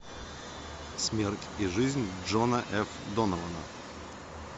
смерть и жизнь джона ф донована